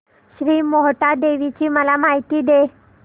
श्री मोहटादेवी ची मला माहिती दे